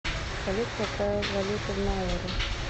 салют какая валюта в науру